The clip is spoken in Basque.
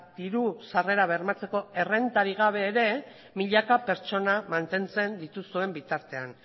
diru sarrerak bermatzeko errentarik ere gabe milaka pertsona mantentzen dituen bitartean